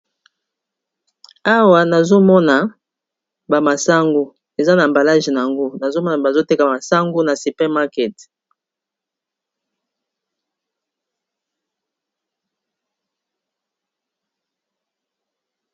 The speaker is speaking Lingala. awa nazomona bamasangu eza na mbalage na yango nazomona bazoteka masango na supermarket